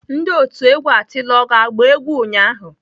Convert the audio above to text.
Ndi otu egwu atilogwu agba egwu ụnyahụ?